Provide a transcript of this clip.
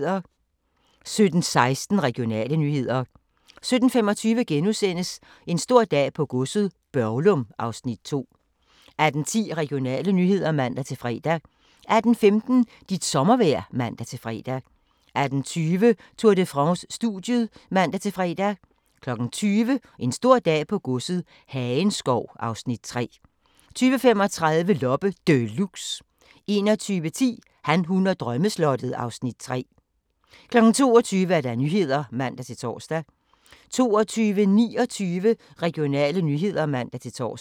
17:16: Regionale nyheder 17:25: En stor dag på godset - Børglum (Afs. 2)* 18:10: Regionale nyheder (man-fre) 18:15: Dit sommervejr (man-fre) 18:20: Tour de France: Studiet (man-fre) 20:00: En stor dag på godset - Hagenskov (Afs. 3) 20:35: Loppe Deluxe 21:10: Han, hun og drømmeslottet (Afs. 3) 22:00: Nyhederne (man-tor) 22:29: Regionale nyheder (man-tor)